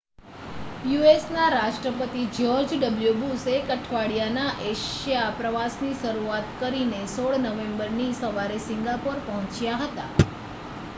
યુ.એસ.ના રાષ્ટ્રપતિ George W Bush એક અઠવાડિયાનાં એશિયા પ્રવાસની શરૂઆત કરીને 16 નવેમ્બરની સવારે સિંગાપોર પહોંચ્યા હતા